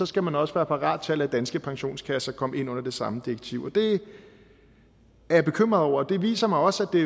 skal man også være parat til at lade danske pensionskasser komme ind under det samme direktiv det er jeg bekymret over og det viser mig også at det